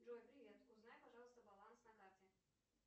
джой привет узнай пожалуйста баланс на карте